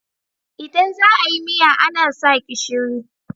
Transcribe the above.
Idan za a yi miya ana sa gishiri.